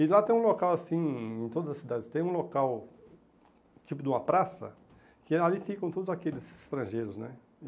E lá tem um local assim, em todas as cidades, tem um local, tipo de uma praça, que ali ficam todos aqueles estrangeiros, né?